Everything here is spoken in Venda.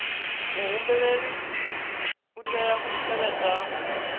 muhumbeli u tea u tevhedza